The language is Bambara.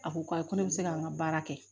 A ko ko ayi ko ne bɛ se ka n ka baara kɛ